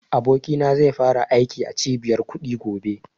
Abokina zai fara aiki a cibiyar kuɗi gobe